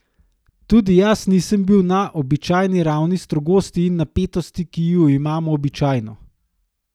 Tudi jaz nisem bil na običajni ravni strogosti in napetosti, ki ju imam običajno.